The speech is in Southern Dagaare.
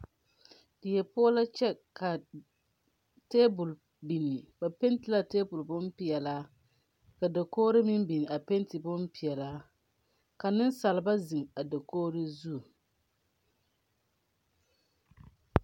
Die poɔ la kyɛ ka tabol biŋ ba Penti la a tabol bon pilaa ka dagoge meŋ biŋ a panti bon pilaa ka niŋsalba ziŋ a dakogro zu .